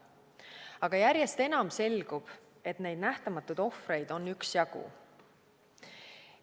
Aga järjest enam selgub, et neid nähtamatuid ohvreid on üksjagu.